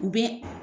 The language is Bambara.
U bɛ